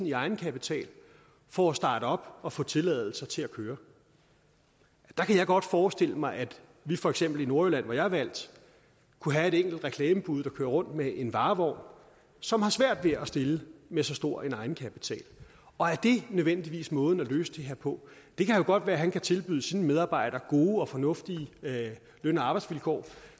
i egenkapital for at starte op og få tilladelser til at køre der kan jeg godt forestille mig at vi for eksempel i nordjylland hvor jeg er valgt kunne have et enkelt reklamebud der kører rundt med en varevogn som har svært ved at stille med så stor en egenkapital og er det nødvendigvis måden at løse det her på det kan jo godt være at han kan tilbyde sine medarbejdere gode og fornuftige løn og arbejdsvilkår